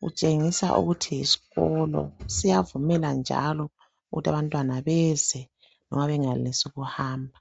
kutshengisa ukuthi yisikolo siyavumela njalo ukuthi abantwana beze noma bengayenelisi ukuhamba.